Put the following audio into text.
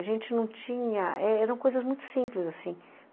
A gente não tinha... Eram coisas muito simples, assim.